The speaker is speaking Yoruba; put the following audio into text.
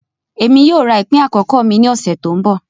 Emi yoo ra ipin akọkọ mi ni ọsẹ to nbọ.